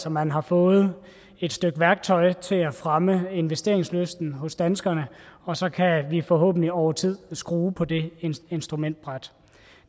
at man har fået et stykke værktøj til at fremme investeringslysten hos danskerne og så kan vi forhåbentlig over tid skrue på det instrumentbræt